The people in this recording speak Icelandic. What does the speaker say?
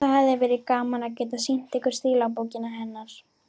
Það hefði verið gaman að geta sýnt ykkur stílabókina hennar.